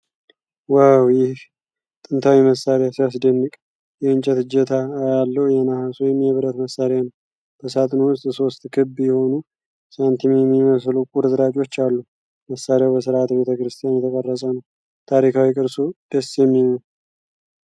ዋው! ይህ ጥንታዊ መሣሪያ ሲያስደንቅ! የእንጨት እጀታ ያለው የነሐስ ወይም የብረት መሣሪያ ነው። በሣጥኑ ውስጥ ሦስት ክብ የሆኑ ሳንቲም የሚመስሉ ቁርጥራጮች አሉ። መሣሪያው በስርዓተ-ቤተክርስቲያን የተቀረፀ ነው። ታሪካዊ ቅርሱ ደስ የሚል ነው።